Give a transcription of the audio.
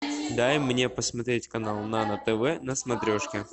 дай мне посмотреть канал нано тв на смотрешке